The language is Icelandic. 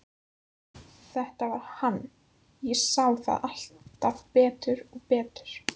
Þetta var hann, ég sá það alltaf betur og betur.